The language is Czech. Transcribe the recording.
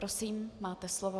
Prosím, máte slovo.